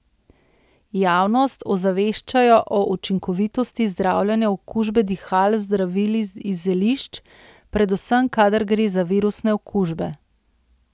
Javnost ozaveščajo o učinkovitosti zdravljenja okužbe dihal z zdravili iz zelišč, predvsem kadar gre za virusne okužbe.